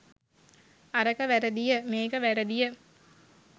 අරක වැරදිය මේක වැරදිය